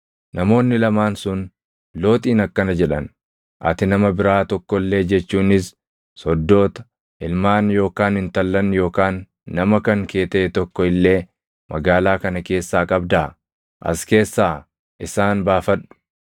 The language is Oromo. Namoonni lamaan sun Looxiin akkana jedhan; “Ati nama biraa tokko illee jechuunis soddoota, ilmaan yookaan intallan yookaan nama kan kee taʼe tokko illee magaalaa kana keessaa qabdaa? Asi keessa isaan baafadhu;